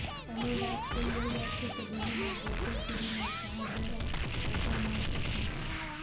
અમે વાત કરી રહ્યા છે કે દિલ્હીના ગોકુલપુરીમાં શાહદરા ઑટો માર્કેટની